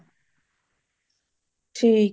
ਠੀਕ ਹੈ |